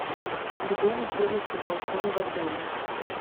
где находится балкон в отеле